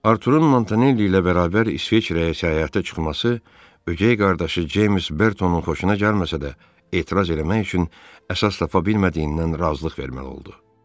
Arturun Montanelli ilə bərabər İsveçrəyə səyahətə çıxması ögey qardaşı James Bertonun xoşuna gəlməsə də, etiraz eləmək üçün əsas tapa bilmədiyindən razılıq vermək oldu.